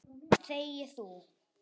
Þegi þú!